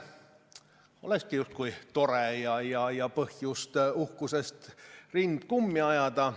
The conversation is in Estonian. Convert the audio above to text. Olekski tore ja on põhjust uhkusest rind kummi ajada.